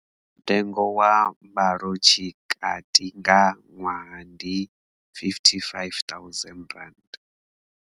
Mutengo wa mbalotshikati nga ṅwaha ndi R55 000.